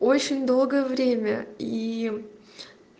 очень долгое время и